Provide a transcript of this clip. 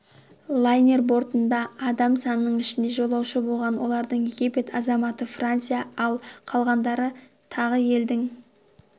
лайнер бортында адам соның ішінде жолаушы болған олардың египет азаматы франция ал қалғандары тағы елдің